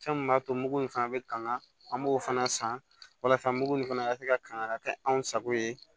Fɛn min b'a to mugu in fana bɛ kanga an b'o fana san walasa mugu in fana ka se ka kanga ka kɛ anw sago ye